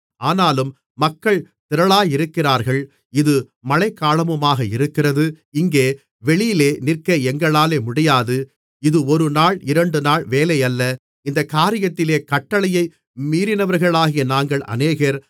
ஆனாலும் மக்கள் திரளாயிருக்கிறார்கள் இது மழைக்காலமுமாக இருக்கிறது இங்கே வெளியிலே நிற்க எங்களாலே முடியாது இது ஒருநாள் இரண்டுநாள் வேலையல்ல இந்தக் காரியத்திலே கட்டளையை மீறினவர்களாகிய நாங்கள் அநேகர்